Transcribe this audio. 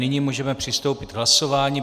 Nyní můžeme přistoupit k hlasování.